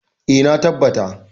Eh, na tabbata.